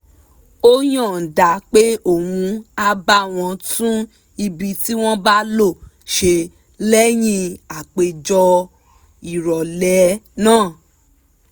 ó yànda pé òun á bá wọn tún ibi tí wọ́n bá lò ṣe lẹ́yìn àpéjọ ìrọ̀lẹ́ náà